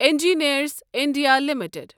engineers India limited